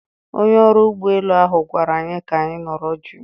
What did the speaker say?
Onye ọrụ ụgbọ elu ahụ gwara anyị ka anyị nọrọ jụụ